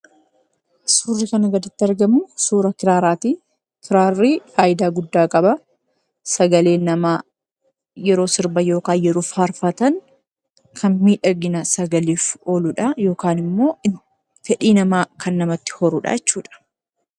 Suurri kana gaditti argamuu, suura kiraaraati. Kiraarri fayidaa guddaa qaba. Sagaleen namaa yeroo sirban yookiin farfatan kan miidhagina sagaleef ooludha yookaan immoo fedhii namaa kan namatti horudha jechuudha.